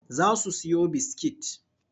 Za su siyo biskit.